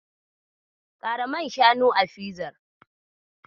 Kara man shanu a fizar.